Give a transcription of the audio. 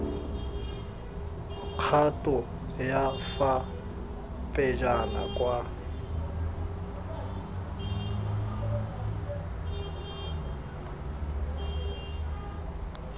kgato ya fa pejana kwa